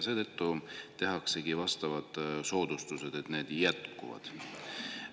Seetõttu tehaksegi soodustused, need jätkuvad.